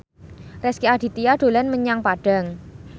Rezky Aditya dolan menyang Padang